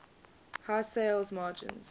high sales margins